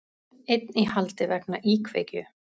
Einn í haldi vegna íkveikju